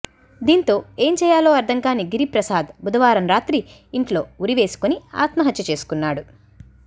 దీంతో ఏంచేయాలో అర్థంకాని గిరిప్రసాద్ బుధవారం రాత్రి ఇంట్లో ఉరివేసుకుని ఆత్మహత్య చేసుకున్నాడు